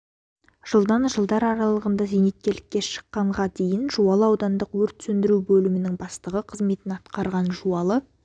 жылдан жылдар аралығында зейнеткерлікке шыққанға дейін жуалы аудандық өрт сөндіру бөлімінің бастығы қызметін атқарған жуалы